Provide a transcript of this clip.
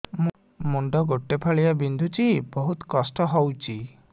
ମୁଣ୍ଡ ଗୋଟେ ଫାଳିଆ ବିନ୍ଧୁଚି ବହୁତ କଷ୍ଟ ହଉଚି